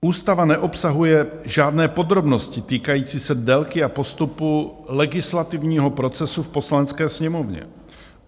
Ústava neobsahuje žádné podrobnosti týkající se délky a postupu legislativního procesu v Poslanecké sněmovně.